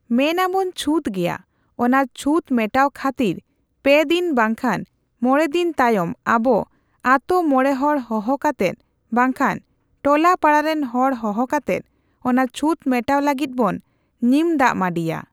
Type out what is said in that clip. ᱢᱮᱱᱟᱵᱚᱱ ᱪᱷᱩᱛᱜᱮᱭᱟ ᱚᱱᱟ ᱪᱷᱩᱛ ᱢᱮᱴᱟᱣ ᱠᱷᱟᱹᱛᱤᱨ ᱯᱮ ᱫᱤᱱ ᱵᱟᱝ ᱠᱷᱟᱱ ᱢᱚᱬᱮ ᱫᱤᱱ ᱛᱟᱭᱚᱢ ᱟᱵᱚ ᱟᱛᱳ ᱢᱚᱬᱮ ᱦᱚᱲ ᱦᱚᱦᱚ ᱠᱟᱛᱮᱫ ᱵᱟᱝᱠᱷᱟᱱ ᱴᱚᱞᱟ ᱯᱟᱲᱟᱨᱮᱱ ᱦᱚᱲ ᱦᱚᱦᱚ ᱠᱟᱛᱮᱫ ᱚᱱᱟ ᱪᱷᱩᱛ ᱢᱮᱴᱟᱣ ᱞᱟᱹᱜᱤᱫ ᱵᱚᱱ ᱱᱤᱢ ᱫᱟᱜ ᱢᱟᱺᱰᱤᱭᱟ ᱾